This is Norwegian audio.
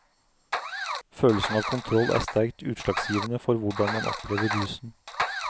Følelsen av kontroll er sterkt utslagsgivende for hvordan man opplever rusen.